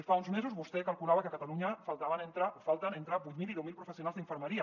fa uns mesos vostè calculava que a catalunya falten entre vuit mil i deu mil professionals d’infermeria